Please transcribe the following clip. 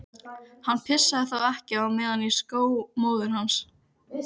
Hann pissaði þá ekki á meðan í skó móður hans.